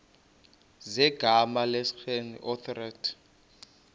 zegama lesngesn authorit